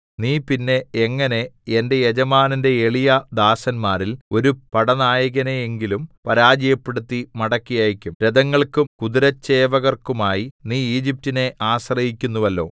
നീ പിന്നെ എങ്ങനെ എന്റെ യജമാനന്റെ എളിയ ദാസന്മാരിൽ ഒരു പടനായകനെയെങ്കിലും പരാജയപ്പെടുത്തി മടക്കി അയക്കും രഥങ്ങൾക്കും കുതിരച്ചേവകർക്കുമായി നീ ഈജിപ്റ്റിനെ ആശ്രയിക്കുന്നുവല്ലോ